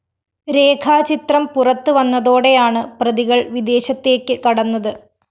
രേഖ ചിത്രം പുറത്തു വന്നതോടെയാണ് പ്രതികള്‍ വിദേശത്തേക്ക് കടന്നത്